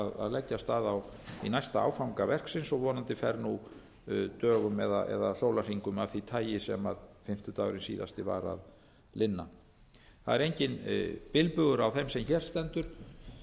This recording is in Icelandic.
leggja af stað í næsta áfanga verksins og vonandi fer nú dögum eða sólarhringum af því tagi sem fimmtudagurinn síðasti var að linna það er enginn bilbugur á þeim sem hér stendur